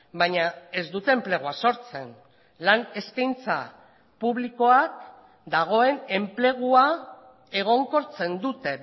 baina ez dute enplegua sortzen lan eskaintza publikoak dagoen enplegua egonkortzen dute